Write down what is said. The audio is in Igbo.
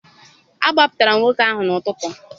Agbapụtara nwoke ahụ n'ụtụtụ.